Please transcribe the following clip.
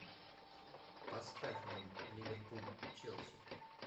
поставь нам ливерпуль челси